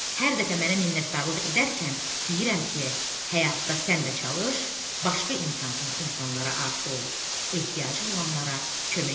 Hər dəfə mənə minnətdarlıq edərkən deyirəm ki, həyatda sən də çalış, başqa imkansız insanlara arxa ol, ehtiyacı olanlara kömək et.